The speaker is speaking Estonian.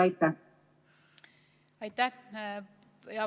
Aitäh!